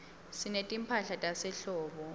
sinetimphahla tasehlobo